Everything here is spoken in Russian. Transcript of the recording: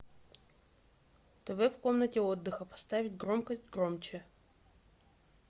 тв в комнате отдыха поставить громкость громче